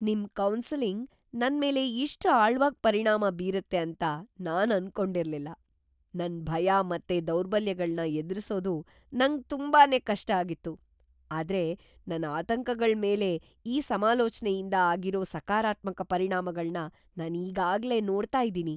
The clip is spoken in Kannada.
ನಿಮ್ ಕೌನ್ಸೆಲಿಂಗ್ ನನ್ಮೇಲೆ ಇಷ್ಟ್ ಆಳ್ವಾಗ್ ಪರಿಣಾಮ ಬೀರುತ್ತೆ ಅಂತ ನಾನ್ ಅನ್ಕೊಂಡಿರ್ಲಿಲ್ಲ! ನನ್ ಭಯ ಮತ್ತೆ ದೌರ್ಬಲ್ಯಗಳ್ನ ಎದ್ರಿಸೋದು‌ ನಂಗ್ ತುಂಬಾನೇ ಕಷ್ಟ ಆಗಿತ್ತು.. ಆದ್ರೆ ನನ್ ಆತಂಕಗಳ್ ಮೇಲೆ ಈ ಸಮಾಲೋಚ್ನೆಯಿಂದ ಆಗಿರೋ ಸಕಾರಾತ್ಮಕ ಪರಿಣಾಮಗಳ್ನ ನಾನ್ ಈಗಾಗ್ಲೇ ನೋಡ್ತಾ ಇದೀನಿ!